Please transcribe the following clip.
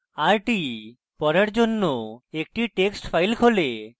rt = পড়ার জন্য একটি text file খোলে